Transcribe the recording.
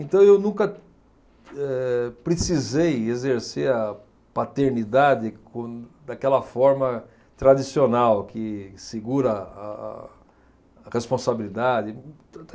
Então eu nunca eh, precisei exercer a paternidade quando, daquela forma tradicional, que segura a a a responsabilidade.